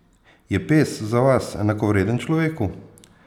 Je pes za vas enakovreden človeku?